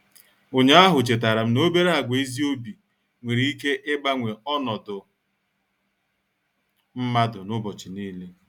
Ụnyaahụ chetaram n'obere àgwà ezi obi nwere ike ịgbanwe ọnọdụ mmadụ n'ụbọchị niile.